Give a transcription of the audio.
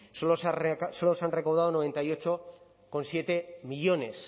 solo se han recaudado noventa y ocho coma siete millónes